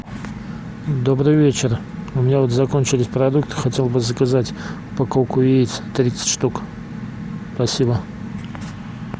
добрый вечер у меня вот закончились продукты хотел бы заказать упаковку яиц тридцать штук спасибо